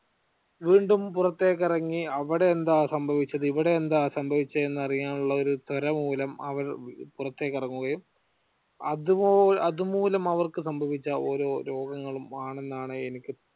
വീണ്ടും പുറത്തേക്ക് ഇറങ്ങി അവിടെ എന്താ സംഭവിച്ചത് ഇവിടെ എന്താ സംഭവിച്ച് എന്നറിയാനുള്ള ഒരു ത്വര മൂലം അവർ പുറത്തേക്കിറങ്ങുകയും അതുപോഅതുമൂലം അവർക്ക് സംഭവിച്ച ഓരോ രോഗങ്ങളും ആണെന്നാണ് എനിക്ക്